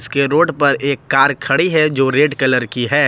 के रोड पर एक कार खड़ी है जो रेड कलर की है।